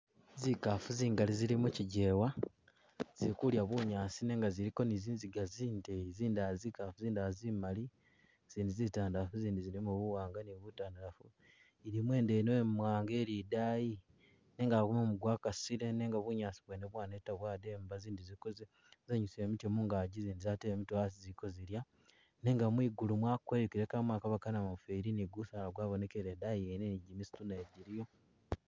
Zikaafu zingali zili mikyijewa zili kudya bunyaasi nenga ziliko ni zinziga zindeyi zindala zikaafu zindala zimali zindi zitaandalaafu zindi zilimo buwanga ni butaandalaafu ilimo idwena imwaanga ili idaayi nenga mumu gwakasile nenga bunyaasi bwene bwaneta bwademba zindi ziliko zenyusile mitye mungagi zindi zatele mitye hasi ziliko zilya nenga mwigulu mwakweyukile kamo akaba kanamufeli ni gusaala gwabonekele idaayi yene ni gimisitu naye giliyo.